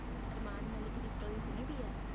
ਅਰਮਾਨ ਮਲਿਕ ਦੀ story ਸੋਨਿ ਦੀ ਹੈ